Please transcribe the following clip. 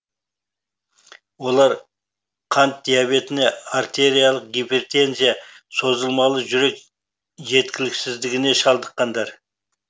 олар қант диабетіне артериялық гипертензия созылмалы жүрек жеткіліксіздігіне шалдыққандар